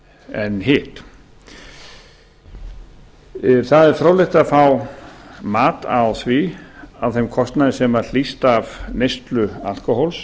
en hitt það er fróðlegt að fá mat á því á þeim kostnaði sem hlýst af neyslu alkóhóls